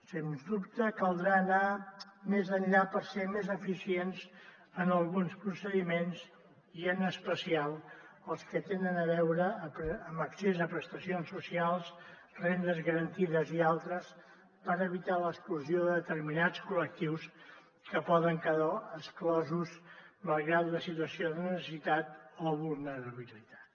sens dubte caldrà anar més enllà per ser més eficients en alguns procediments i en especial els que tenen a veure amb l’accés a prestacions socials rendes garantides i altres per evitar l’exclusió de determinats col·lectius que poden quedar exclosos malgrat la situació de necessitat o vulnerabilitat